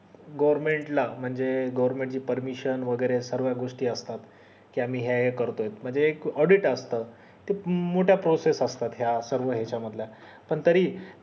goverment ला म्हणजे government ची permission वैगेरे सर्व्या गोष्टी असतात मी या या करतोय म्हणजे एक audit असत त्या मोठ्या processes असतात या सर्व याच्या मधल्या पण तरी